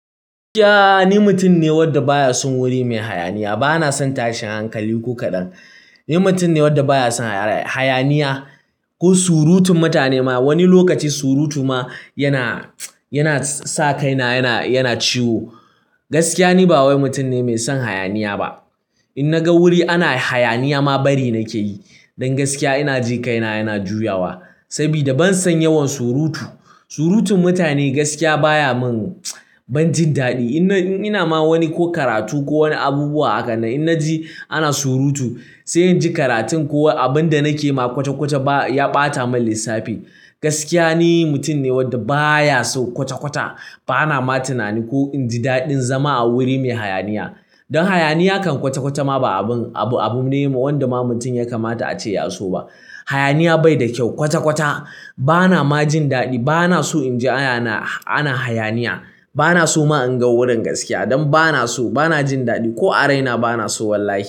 Gaskiya ni mutum ne wanda baya son wuri mai hayaniya. Bana son tashin hankali ko kaɗan. Ni mutum ne wanda baya son hayaniya ko surutun mutane ma. Wani lokaci surutu ma yana sa kaina yana ciwo. Gaskiya ni ba wani mutum ne mai son hayaniya ba. In naga wuri ana hayaniya ma bari nake yi. Don gaskiya ina ji kaina yana juyawa. Sabida ban san yawan surutu. Surutun mutane gaskiya baya mun, ban jin daɗi. Ina ma wani ko karatu ko wani abubuwa a klhanna in na ji ana surutu sai in ji karatun ko abin da nake yi ma kwata-kwata ya ɓata min lissafi. Gaskiya ni mutum ne wanda baya so kwata-kwata. Bana ma tunani ko in ji daɗin zama a wuri mai hayaniya. Don hayaniya kan kwata-kwata ma abun ne wanda ba mutum ya kamata ace ya so ba. Hayaniya bai da kyau. Kwata-kwata bana ma jin daɗi. Bana so in ji ana hayaniya. Bana so ma in ga wurin gaskiya. Don bana so, bana jin daɗi ko a raina bana so wallahi.